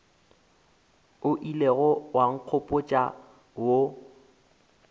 o ilego wa nkgopotša wo